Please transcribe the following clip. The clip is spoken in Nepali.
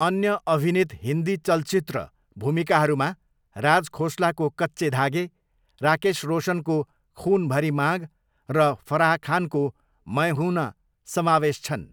अन्य अभिनीत हिन्दी चलचित्र भूमिकाहरूमा राज खोसलाको कच्चे धागे, राकेश रोशनको खुन भरी माग र फराह खानको मै हूं ना समावेश छन्।